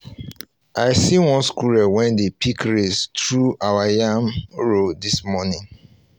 i see one squirrel wey dey pick race through our yam row this morning